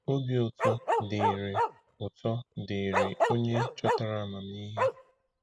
Obi Ụtọ Dịrị Ụtọ Dịrị Onye Chọtara Amamihe.